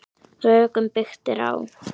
Rökum byggt er á.